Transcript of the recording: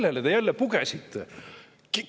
Kellele te jälle pugesite?